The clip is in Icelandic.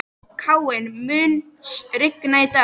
Káinn, mun rigna í dag?